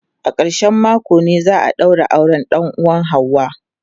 A ƙarshen mako ne za a daura auren dan uwan ​​Hauwa.